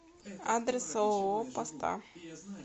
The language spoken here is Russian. адрес ооо поста